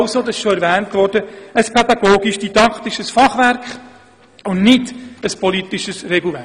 Wie bereits erwähnt wurde, ist der Lehrplan also ein pädagogisch-didaktisches Fachwerk und kein politisches Regelwerk.